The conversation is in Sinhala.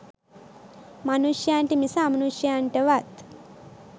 මනුෂයන්ට මිස අමනුෂයන්ටවත්